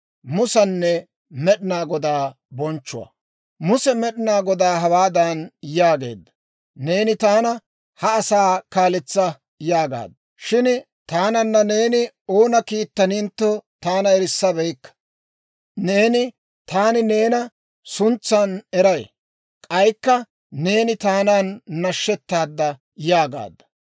Muse Med'inaa Godaa hawaadan yaageedda; «Neeni taana, ‹Ha asaa kaaletsa› yaagaadda; shin taananna neeni oona kiittanintto, taana erissabeykka. Neeni, ‹Taani neena suntsan eray; k'aykka neeni taanan nashettaadda› yaagaadda.